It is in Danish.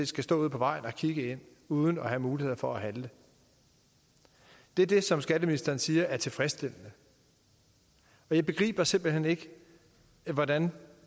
skal stå ude på vejen og kigge ind uden at have mulighed for at handle det er det som skatteministeren siger er tilfredsstillende og jeg begriber simpelt hen ikke hvordan